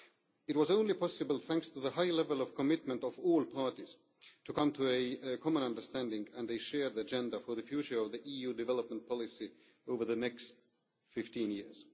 It was only possible thanks to the high level of commitment of all parties to come to a common understanding and a shared agenda for the future of EU development policy over the next 15 years.